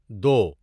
دو